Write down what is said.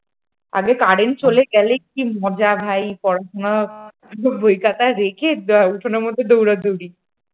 আগে কারেন্ট চলে গেলে কি মজা ভাই পড়াশোনা বই খাতা রেখে উঠোনের মধ্যে দৌড়াদৌড়ি ।